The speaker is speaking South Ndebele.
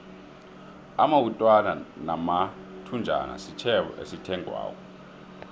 amawutwana namathunjana sitjhebo esithengwako